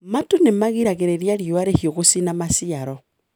Matu nĩmagiragĩrĩria riua rĩhiũ gũcina maciaro.